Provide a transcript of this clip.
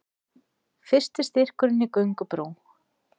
Fyrsti styrkurinn í göngubrú